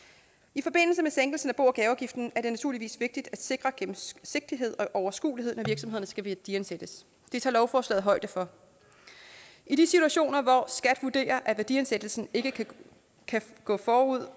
i forbindelse med sænkelsen af bo og gaveafgiften er det naturligvis vigtigt at sikre gennemsigtighed og overskuelighed når virksomhederne skal værdiansættes det tager lovforslaget højde for i de situationer hvor skat vurderer at værdiansættelsen ikke kan gå gå ud